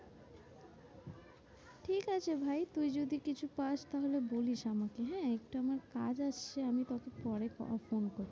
ঠিকাছে ভাই তুই যদি কিছু পাস্ তাহলে বলিস আমাকে হ্যাঁ। একটু আমার কাজ আসছে আমি তোকে পরে ফোন করবো।